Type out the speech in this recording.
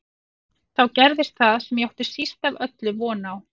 Þá gerðist það sem ég átti síst af öllu von á.